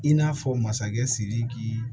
I n'a fɔ masakɛ sidiki